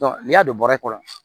n'i y'a don bɔrɛ kɔnɔ